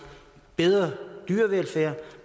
bedre dyrevelfærd